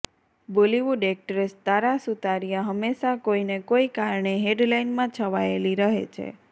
Bollywood actress Tara Sutaria હંમેશા કોઈને કોઈ કારણે હેડલાઈનમાં છવાયેલી રહે છે